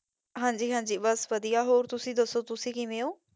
ਹਾਂਜੀ ਹਾਂਜੀ ਬਸ ਵਧੀਆ, ਹੋਰ ਤੁਸੀਂ ਦੱਸੋ ਕਿਵੇਂ ਹੋ?